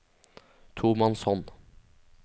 tomannshånd